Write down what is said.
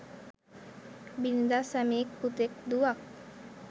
බිරිඳක්, සැමියෙක්, පුතෙක්, දුවක්,